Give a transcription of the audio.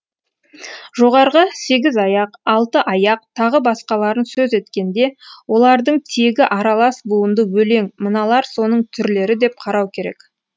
жоғарғы сегіз аяқ алты аяқ тағы басқаларын сөз еткенде олардың тегі аралас буынды өлең мыналар соның түрлері деп қарау керек